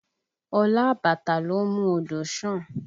Olá àbàtà ló ń mú odò san